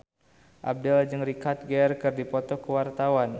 Abdel jeung Richard Gere keur dipoto ku wartawan